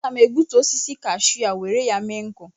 Aga m egbutu osisi Kashu a were ya mee nkụ